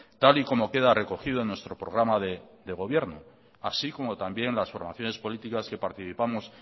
tal y como queda recogido en nuestro programa de gobierno así como también las formaciones políticas que participamos